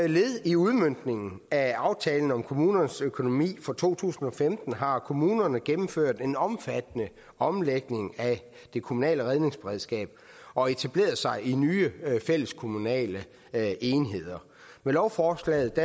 led i udmøntningen af aftalen om kommunernes økonomi for to tusind og femten har kommunerne gennemført en omfattende omlægning af det kommunale redningsberedskab og etableret sig i nye fælleskommunale enheder med lovforslaget